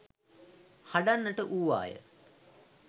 හඬන්නට වූවාය.